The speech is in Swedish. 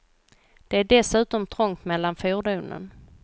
Det är dessutom trångt mellan fordonen.